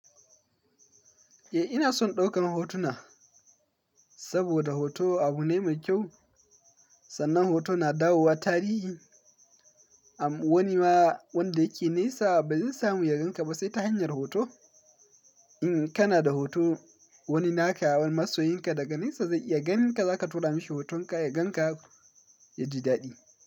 Eh ina son ɗaukan hotuna saboda hoto abu ne mai kyau. Sannan hoto na dawo wa tarihi. Amma wani ma wanda yake nesa ba zai samu ya gan ka ba sai ta hanyar hoto. In kana da hoto wani naka, wani masoyinka daga nesa zai iya ganinka, za ka tura mashi hotonka ya gan ka ya ji daɗi.